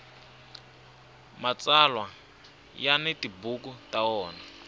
mtsalwa ya ni tibuku ta wona